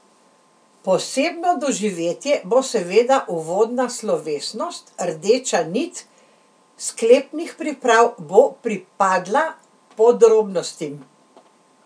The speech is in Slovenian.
Posebno doživetje bo seveda uvodna slovesnost, rdeča nit sklepnih priprav bo pripadla podrobnostim.